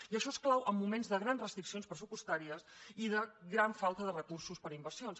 i això és clau en moments de grans restriccions pressupostàries i de gran falta de recursos per a inversions